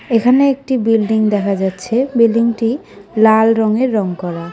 এখানে একটি বিল্ডিং দেখা যাচ্ছে বিল্ডিংটি লাল রঙের রং করা।